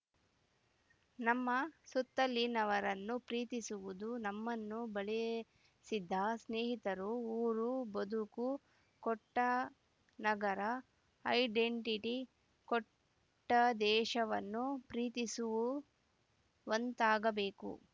ನಮ್ಮ ಸುತ್ತಲಿನವರನ್ನು ಪ್ರೀತಿಸುವುದು ನಮ್ಮನ್ನು ಬಳೆಸಿದ್ದ ಸ್ನೇಹಿತರು ಊರು ಬದುಕು ಕೊಟ್ಟನಗರ ಐಡೆಂಟಿಟಿ ಕೊಟ್ಟ ದೇಶವನ್ನು ಪ್ರೀತಿಸುವಂತಾಗಬೇಕು